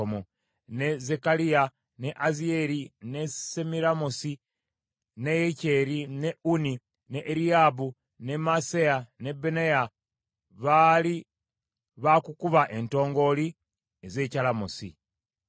ne Zekkaliya, ne Aziyeri, ne Semiramosi, ne Yekyeri, ne Unni, ne Eriyaabu, ne Maaseya ne Benaya baali baakukuba entongooli ez’ekyalamosi;